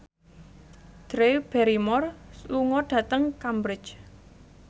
Drew Barrymore lunga dhateng Cambridge